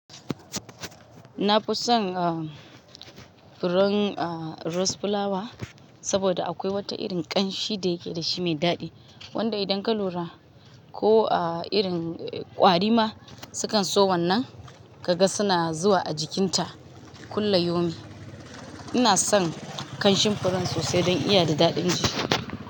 Na fi son, ah, furen, ah, rose flower saboda akwai wata irin ƙanshi da yake da shi mai daɗi, wanda idan ka lura ko, ah, irin ƙwari ma su kan so wannan, ka ga suna zuwa a jikinta kulla yaumin. Ina son ƙanshin furen sosai don iya da daɗin shi.